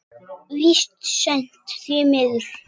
Víst seint, því miður.